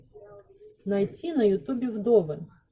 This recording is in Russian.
найти на ютубе вдовы